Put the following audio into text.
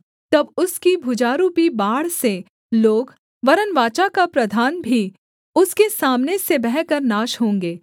तब उसकी भुजारूपी बाढ़ से लोग वरन् वाचा का प्रधान भी उसके सामने से बहकर नाश होंगे